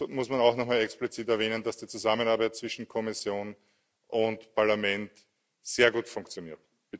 So muss man auch nochmal explizit erwähnen, dass die Zusammenarbeit zwischen Kommission und Parlament sehr gut funktioniert.